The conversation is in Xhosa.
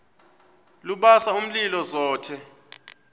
lubasa umlilo zothe